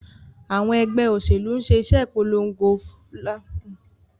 Àwọn ẹgbẹ́ òṣèlú ń ṣe ìpolongo tó lágbára fún ìṣẹ́gun ìdìbò.